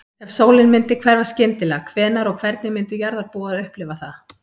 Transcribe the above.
Ef sólin myndi hverfa skyndilega, hvenær og hvernig myndu jarðarbúar upplifa það?